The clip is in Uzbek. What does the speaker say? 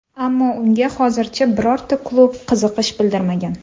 Ammo unga hozircha birorta klub qiziqish bildirmagan.